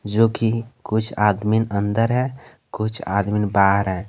जो कि कुछ आदमी अंदर है कुछ आदमी बाहर है।